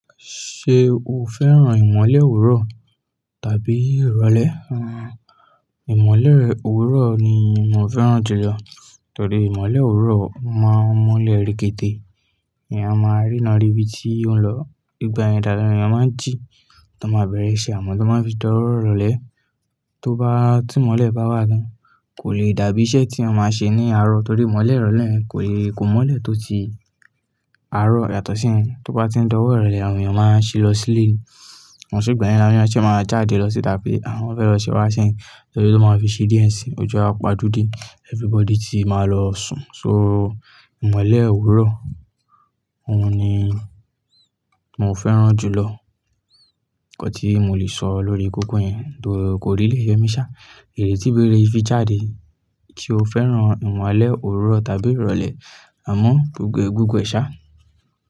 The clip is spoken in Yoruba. Ṣé o fẹ́ràn ìmọ́lẹ̀ òwúrọ̀ tàbí ìrọ̀lẹ́? Ìmọ́lẹ̀ òwúrọ̀ ni mo fẹ́ràn jù lọ, torí ìmọ́lẹ̀ òwúrọ̀ máa ń mọ́lẹ̀ rí régedé. Ènìyàn máa ríne, ri bi tí ó ń lọ. Nígbà deni awon eyẹn máa ń jí, tọ máa bẹ̀rẹ̀ iṣẹ́, amọ̀ tó bá ń fi di ọwó irole tí mọ́lẹ̀ bá wà tán kò lè dàbí iṣẹ́ tí ẹ máa ń ṣe ní àárọ̀ torí imọ́lẹ̀ ìrọ̀lẹ́, kó mọ́lẹ̀ tó ti àárọ̀ yàtọ̀ sí ẹ. Tó bá ti ń di ọwó ìrọ̀lẹ́, àwọn ènìyàn máa ń ṣí lọ sí ilé ni, ko se gbà yen ni awon ènìyàn ṣe máa jáde lọ síta pe àwọn fẹ́ lọ se wá sẹ́kan, torí tó máa ń fi ṣí díẹ̀ ẹ́ sí ojú a pajú dé everybody tí máa lọ sùn. So, ìmọ́lẹ̀ òwúrọ̀ òun ni mo fẹ́ràn jù lọ. Nkan tí mo lè sọ lórí koko yen though kó really ye mi sha. Èrè tí bèrè fi jáde, so o fẹ́ràn ìmọ́lẹ̀ òwúrọ̀ tàbí ìrọ̀lẹ́ amọ̀ gbogbo ẹ sá.